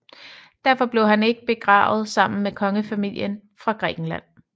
Derfor blev han ikke begravet sammen med kongefamilien fra Grækenland